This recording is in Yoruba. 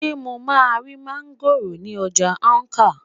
sé mo ma ri máńgòrò ń ọjà Awka?